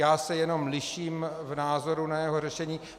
Já se jenom liším v názoru na jeho řešení.